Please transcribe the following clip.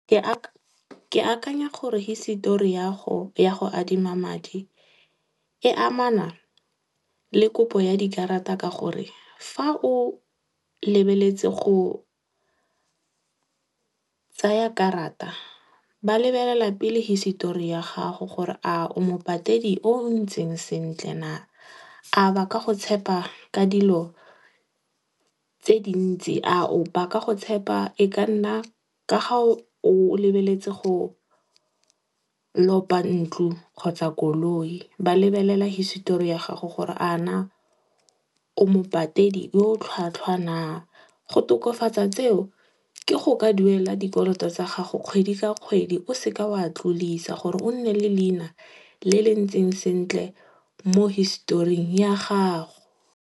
Ke akanya gore hisetori ya go adima madi, e amana, le kopo ya dikarata ka gore fa o lebeletse go tsaya karata, ba lebelela pele hisetori ya gago gore a o mopatedi o o ntseng sentle naa. A ba ka go tshepa ka dilo tse dintsi, a ba ka go tshepa e ka nna ka ga o lebeletse go lopa ntlo kgotsa koloi. Ba lebelela hisetori ya gago gore a na o mopatedi yo o tlhwatlhwa naa. Go tokafatsa tseo ke go ka duela dikoloto tsa gago kgwedi ka kgwedi o seke wa tlodisa gore o nne le leina le le ntseng sentle mo hisetoring ya gago.